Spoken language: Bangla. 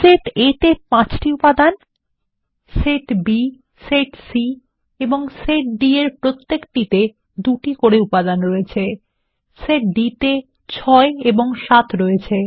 সেট A তে ৫টি উপাদান সেট B সেট C এবং সেট D এর প্রত্যেকটিকে ২ টি করে উপাদান রয়েছে সেট D তে ৬ ৭ রয়েছে